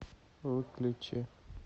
выключи